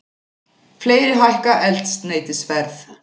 Fleiri hækka eldsneytisverð